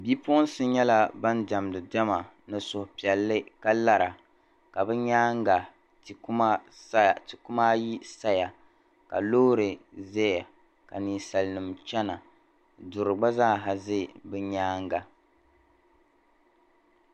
bipuɣinsi nyɛla ban diɛmdi diɛma ka lara di nyaaŋa ka ti kuma ayi saya ka loori zaya ka ninsalinima gba chana duri gba zaa za bi nyaanga